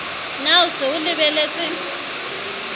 na o se o lebetse